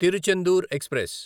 Tiruchendur express